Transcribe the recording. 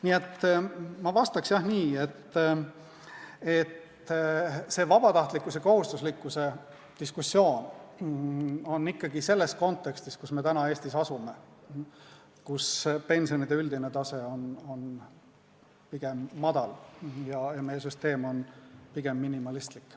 Nii et ma vastaks nii, et see vabatahtlikkuse-kohustuslikkuse diskussioon on ikkagi selles kontekstis, kus me täna Eestis asume, kus pensionide üldine tase on pigem madal ja meie süsteem on pigem minimalistlik.